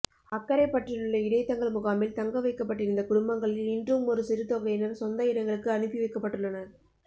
அக்கரைப்பற்றிலுள்ள இடைத் தங்கல் முகாமில் தங்க வைக்கப்பட்டிருந்த குடும்பங்களில் இன்றும் ஒரு சிறுதொகையினர் சொந்த இடங்களுக்கு அனுப்பி வைக்கப்பட்டுள்ளனர்